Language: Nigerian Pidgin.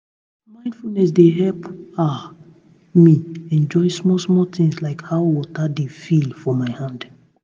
mindfulness dey help ah me enjoy small-small things like how water dey feel for my hand